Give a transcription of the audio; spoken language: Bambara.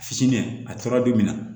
Fitinɛ a fura bi minɛ